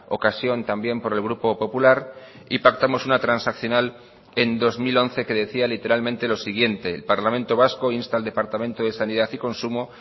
ocasión también por el grupo popular y pactamos una transaccional en dos mil once que decía literalmente lo siguiente el parlamento vasco insta al departamento de sanidad y consumo